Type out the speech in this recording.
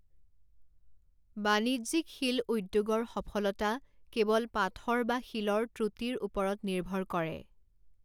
বাণিজ্যিক শিল উদ্যোগৰ সফলতা কেৱল পাথৰ বা শিলৰ ত্ৰুটিৰ ওপৰত নিৰ্ভৰ কৰে।